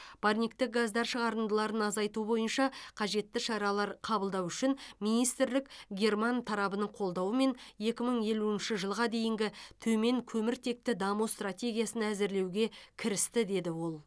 парниктік газдар шығарындыларын азайту бойынша қажетті шаралар қабылдау үшін министрлік герман тарабының қолдауымен екі мың елуінші жылға дейінгі төменкөміртекті даму стратегиясын әзірлеуге кірісті деді ол